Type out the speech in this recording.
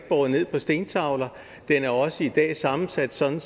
båret ned på stentavler den er også i dag sammensat sådan